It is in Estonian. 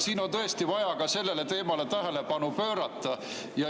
Siin on tõesti vaja ka sellele teemale tähelepanu pöörata.